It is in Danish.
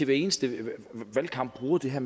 hver eneste valgkamp bruger det her